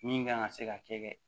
Min kan ka se ka kɛ